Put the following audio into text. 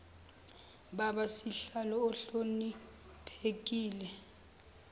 baba sihlalo ohloniphekile